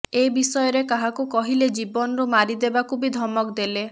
ଏ ବିଷୟରେ କାହାକୁ କହିଲେ ଜୀବନରୁ ମାରିଦେବାକୁ ବି ଧମକ ଦେଲେ